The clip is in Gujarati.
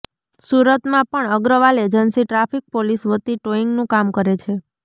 સુરતમાં પણ અગ્રવાલ એજન્સી ટ્રાફિક પોલીસ વતી ટોઈંગનું કામ કરે છે